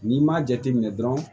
N'i m'a jateminɛ dɔrɔn